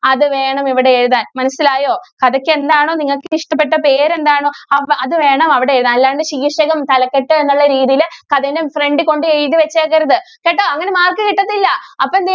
അത് വേണം ഇവിടെ എഴുതാന്‍. മനസിലായോ. കഥയ്ക്ക്‌ എന്താണോ നിങ്ങക്ക് ഇഷ്ടപ്പെട്ട പേര് എന്താണോ അ~അത് വേണം അവിടെ എഴുതാന്‍. അല്ലാണ്ട് ശീര്‍ഷകം തലക്കെട്ട്‌ എന്നുള്ള രീതിയില് അതിൻറെ front ല്‍ കൊണ്ടു പോയി എഴുതിവെച്ചേക്കരുത്. കേട്ടോ അങ്ങനെ mark കിട്ടത്തില്ല. അപ്പം എന്തു ചെയ്യും